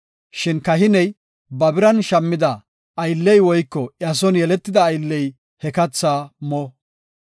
Shin kahiney ba biran shammida aylley woyko iya son yeletida aylley he kathaa mo.